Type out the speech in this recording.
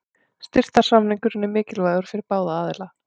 Styrktarsamningurinn er mikilvægur fyrir báða aðila.